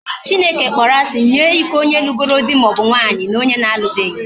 Chineke kpọrọ asị nye iko onye lugoro dị maọbu nwaanyị na onye alụbeghi